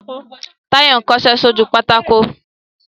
Táyọ̀ ń kọṣẹ́ sójú pátákó